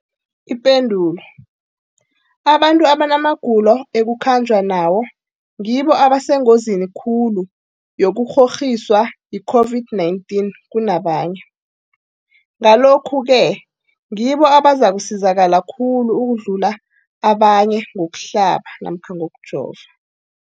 Ipendulo, abantu abanamagulo ekukhanjwa nawo ngibo abasengozini khulu yokukghokghiswa yi-COVID-19 kunabanye, Ngalokhu-ke ngibo abazakusizakala khulu ukudlula abanye ngokuhlaba namkha ngokujova.